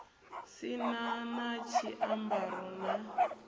si na na tshiambaro na